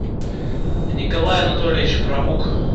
николай анатольевич правук